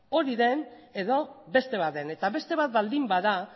hori den edo beste bat den eta beste bat baldin bada